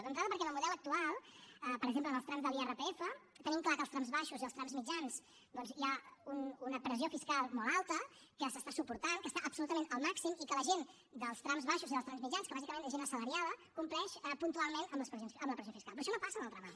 d’entrada perquè en el model actual per exemple en els trams de l’irpf tenim clar que als trams baixos i als trams mitjans doncs hi ha una pressió fiscal molt alta que s’està suportant que està absolutament al màxim i que la gent dels trams baixos i dels trams mitjans que bàsicament és gent assalariada compleix puntualment amb la pressió fiscal però això no passa en el tram alt